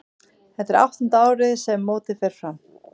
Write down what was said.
Þetta er áttunda árið sem mótið fer fram.